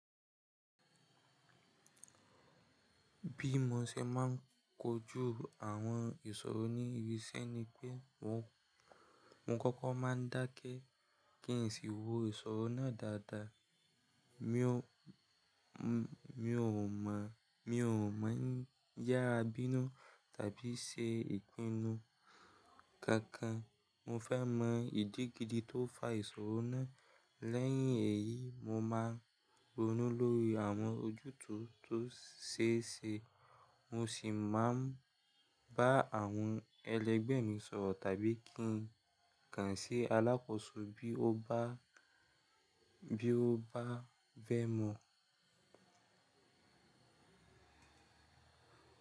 Bí mo ṣe máa ń kojú àwọn ìṣòro ní ibi iṣẹ́ ni pé mo, mo kọ́kọ́ máa ń dákẹ́ kí n sì wo ìṣòro náà dáadáa. Mi ò, mi ò mọ, mi ò mọ n yára bínú tàbí ṣe ìpinnu kankan. Mo fẹ́ mọ ìdí gidi tó fa ìṣòro náà. Lẹ́yìn èyí, mo máa ń ronú lórí àwọn ojútùú tó ṣeése. Mo sì máa ń bá àwọn ẹlẹgbẹ́ mi sọ̀rọ̀ tàbí kí n kàn sí alákòóso bí ó bá, bí ó bá bẹ́ mọ̀.